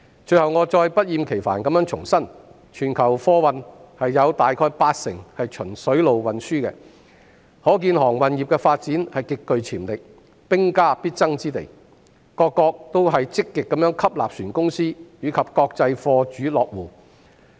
最後，我不厭其煩地重申，全球貨運有大約八成循水路運輸，可見航運業的發展極具潛力，是兵家必爭之地，各國也積極吸納船公司，以及國際貨主落戶。